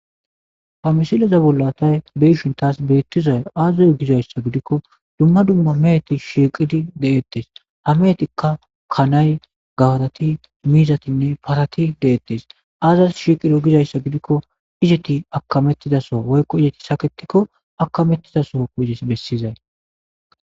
Ha misileza bollatay beyishin taas beettizay aazuzo gizayssa gidikko dumma dumma meheti shiiqidi deettes hameetikka kanay gawarati miizatinne parati deettes aazas shiqido gizayssa gidikko izeti akamettidaso woykko izeti saketikko akamettidaso izes bessizay